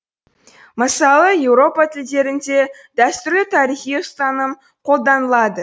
мысалы еуропа тілдерінде дәстүрлі тарихи ұстаным қолданылады